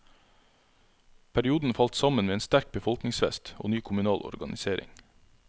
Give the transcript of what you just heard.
Perioden falt sammen med en sterk befolkningsvekst og ny kommunal organisering.